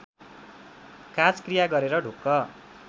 काजक्रिया गरेर ढुक्क